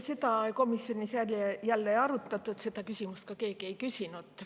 Seda komisjonis ei arutatud, seda küsimust keegi ka ei küsinud.